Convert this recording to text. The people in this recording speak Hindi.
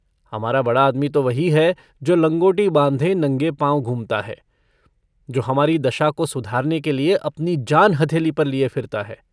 हमारा बड़ा आदमी तो वही है जो लँगोटी बाँधे नंगे पाँव घूमता है, जो हमारी दशा को सुधारने के लिए अपनी जान हथेली पर लिये फिरता है।